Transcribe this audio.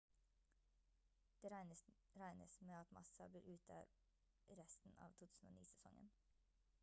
det regnes med at massa blir ute resten av 2009-sesongen